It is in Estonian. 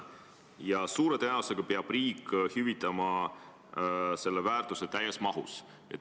Ja suure tõenäosusega peab riik selle täies mahus hüvitama.